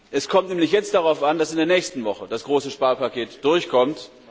Es kommt nämlich jetzt darauf an, dass in der nächsten Woche das große Sparpaket durchkommt.